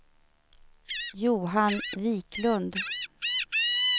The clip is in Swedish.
Johan Viklund